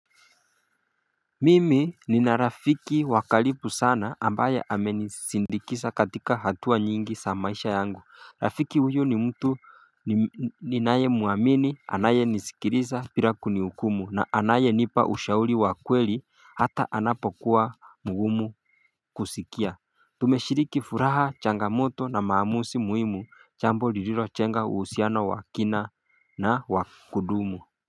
Mimi nina Rafiki wa karibu sana ambaye amenisindikiza katika hatua nyingi za maisha yangu Rafiki huyu ni mtu ninaye mwamini anayenisikiliza bila kunihukumu na anayenipa ushauri wa kweli hata anapokuwa mgumu kusikia Tumeshiriki furaha changamoto na maamuzi muhimu jambo lililojnga uhusiano wa kina na wa kudumu.